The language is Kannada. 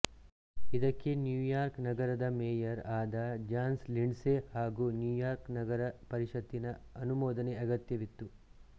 ಇದಕ್ಕೆ ನ್ಯೂಯಾರ್ಕ್ ನಗರದ್ ಮೇಯರ್ ಆದ ಜಾನ್ ಲಿಂಡ್ಸೆ ಹಾಗೂ ನ್ಯೂಯಾರ್ಕ್ ನಗರ ಪರಿಷತ್ತಿನ ಅನುಮೋದನೆ ಅಗತ್ಯವಿತ್ತು